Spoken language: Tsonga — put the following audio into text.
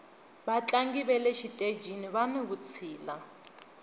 vatlangi vale xitejini vani vutshila